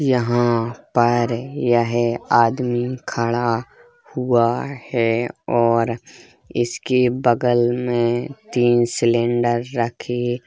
यहाँ पर यह आदमी खड़ा हुआ है और इसके बगल में तीन सिलिंडर रखे --